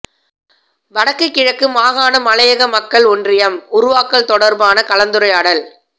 வடக்கு கிழக்கு மாகாண மலையக மக்கள் ஒன்றியம் உருவாக்கல் தொடர்பான கலந்துரையாடல்